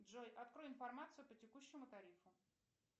джой открой информацию по текущему тарифу